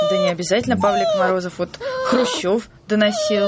да необязательно павлик морозов вот хрущёв доноси